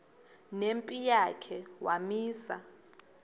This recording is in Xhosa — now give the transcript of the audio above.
nempi yakhe wamisa